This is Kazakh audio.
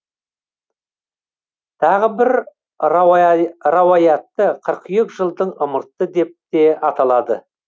тағы бір рауаятта қыркүйек жылдың ымырты деп те аталады